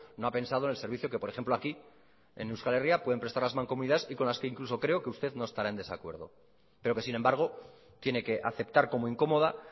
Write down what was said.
no ha pensado en el servicio que por ejemplo aquí en euskal herria pueden prestar las mancomunidades y con las que incluso creo que usted no estará en desacuerdo pero que sin embargo tiene que aceptar como incómoda